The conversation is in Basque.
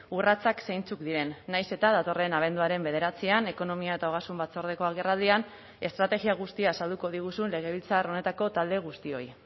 urratsak zeintzuk diren nahiz eta datorren abenduaren bederatzian ekonomia eta ogasun batzordeko agerraldian estrategia guztia azalduko diguzun legebiltzar honetako talde guztioi